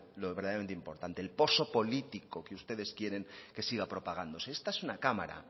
lo verdaderamente importante el poso político que ustedes quieren que siga propagándose esta es una cámara